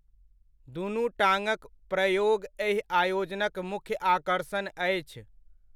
दुनु टाङ्गक प्रयोग एहि आयोजनक मुख्य आकर्षण अछि।